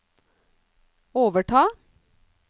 overta